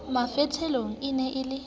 mafotholeng e ne e le